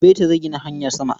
Beta zai gina hanyar sama.